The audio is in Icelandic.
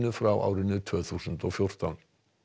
frá tvö þúsund og fjórtán